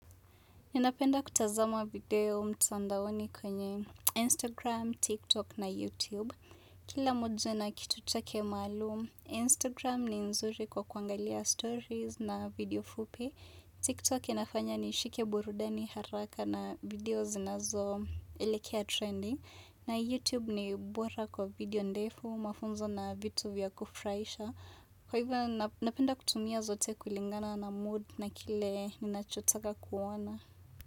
Ninapenda kutazama video mtandaoni kwenye Instagram, TikTok na YouTube. Kila mmoja na kitu chake maluum, Instagram ni nzuri kwa kuangalia stories na video fupi. TikTok inafanya nishike burudani haraka na videos nazo elekea trendy. Na YouTube ni bora kwa video ndefu, mafunzo na vitu vya kufurahisha. Kwa hivyo, na napenda kutumia zote kulingana na mood na kile ninachotaka kuona.